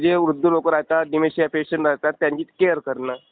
तिथे जे वृद्ध लोकं राहतात, डिमेन्शिया पेशंट असतात त्यांची केअर करणे.